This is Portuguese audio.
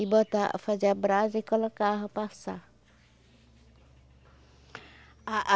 e botar, fazia a brasa e colocava para assar a a